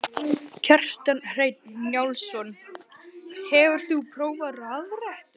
Kjartan Hreinn Njálsson: Hefur þú prófað rafrettu?